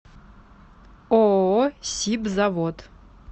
ооо сибзавод